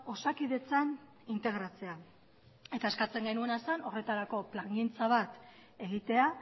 osakidetzan integratzea eta eskatzen genuena zen horretarako plangintza bat egitea